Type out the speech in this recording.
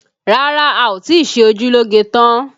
Rárá, a ò tí ì ṣe ojú lóge tán